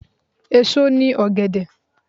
Èso ni ọ̀gẹ̀dẹ̀.